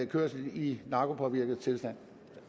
kørsel i narkopåvirket tilstand